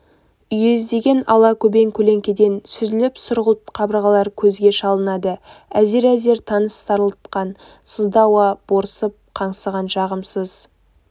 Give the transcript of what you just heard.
үйездеген ала-көбең көлеңкеден сүзіліп сұрғылт қабырғалар көзге шалынады әзер-әзер тыныс тарылтқан сызды ауа борсып қаңсыған жағымсыз